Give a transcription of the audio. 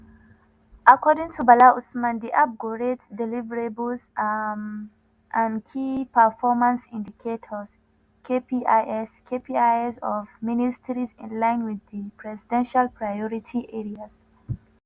according to bala usman di app go rate deliverables um and key performance indicators (kpis) (kpis) of ministries in line wit di presidential priority areas.